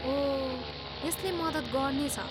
ओह, यसले मद्दत गर्नेछ।